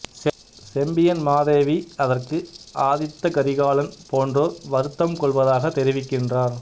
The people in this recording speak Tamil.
செம்பியன் மாதேவி அதற்கு ஆதித்த கரிகாலன் போன்றோர் வருத்தம் கொள்வதாக தெரிவிக்கின்றார்